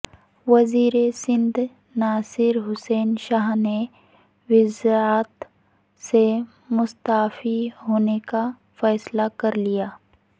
وزیرسندھ ناصر حسین شاہ نے وزارت سے مستعفی ہونے کا فیصلہ کرلیا